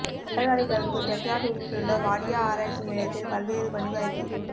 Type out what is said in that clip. பட்டதாரிகளுக்கு டெக்ராடூனிலுள்ள வாடியா ஆராய்ச்சி நிலையத்தில் பல்வேறு பணி வாய்ப்பு